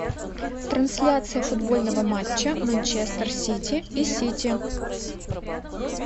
трансляция футбольного матча манчестер сити и сити